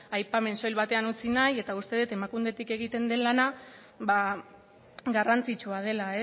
aipamen soil batean utzi nahi eta uste det emakundetik egiten den lana garrantzitsua dela